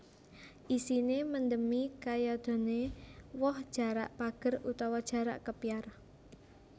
Isine mendemi kayadene woh jarak pager utawa jarak kepyar